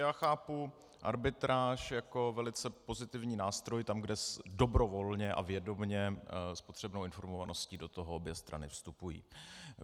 Já chápu arbitráž jako velice pozitivní nástroj tam, kde dobrovolně a vědomě s potřebnou informovaností do toho obě strany vstupují.